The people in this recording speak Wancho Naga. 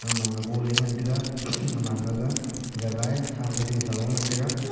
agam ma abu ley ngan taiga aman ga jaghe ea than chi ding sajing ley ngantaiga.